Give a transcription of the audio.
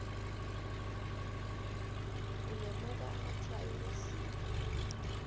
ulemuka amatshwayo wezinga